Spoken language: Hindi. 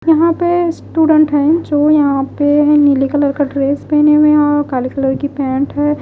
यहाँ पे स्टूडेंट है जो यहाँ पे नीले कलर का ड्रेस पहने है और काले कलर की पेंट है।